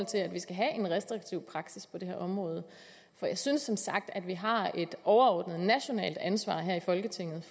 til at vi skal have en restriktiv praksis på det her område for jeg synes som sagt at vi har et overordnet nationalt ansvar her i folketinget